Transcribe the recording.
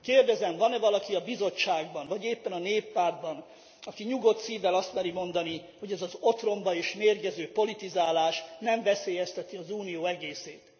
Kérdezem, van e valaki a Bizottságban, vagy éppen a Néppártban, aki nyugodt szívvel azt meri mondani, hogy ez az otromba és mérgező politizálás nem veszélyezteti az Unió egészét.